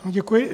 Děkuji.